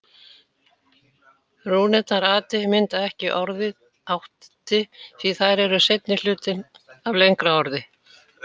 Rúnirnar ati mynda ekki orðið átti því þær eru seinni hlutinn af lengra orði.